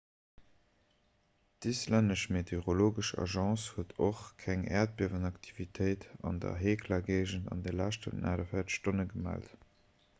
d'islännesch meteorologesch agence huet och keng äerdbiewenaktivitéit an der hekla-géigend an de leschten 48 stonne gemellt